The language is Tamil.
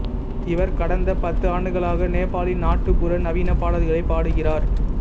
இவர் கடந்த பத்து ஆண்டுகளாக நேபாளி நாட்டுப்புற நவீன பாடல்களைப் பாடுகிறார்